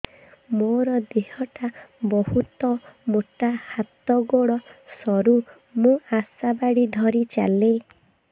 ମୋର ଦେହ ଟା ବହୁତ ମୋଟା ହାତ ଗୋଡ଼ ସରୁ ମୁ ଆଶା ବାଡ଼ି ଧରି ଚାଲେ